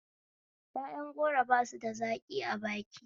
Yaƴan goro basu da zaƙi a baki